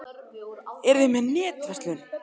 Eruð þið með netverslun?